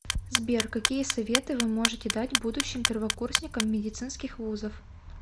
сбер какие советы вы можете дать будущим первокурсникам медицинских вузов